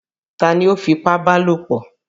Ta ni ó fipábalòpọ̀?